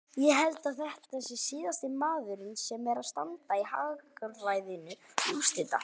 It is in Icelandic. Ég held að þetta sé síðasti maðurinn sem er að standa í hagræðingu úrslita.